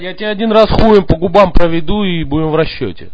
я тебе один раз хуем по губам проведу и будем в расчёте